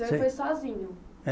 O senhor foi sozinho. É